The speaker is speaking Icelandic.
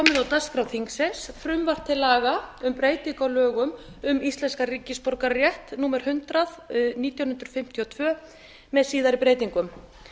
dagskrá þingsins frumvarp til laga um breytingu á lögum um íslenskan ríkisborgararétt númer hundrað nítján hundruð fimmtíu og tvö með síðari breytingum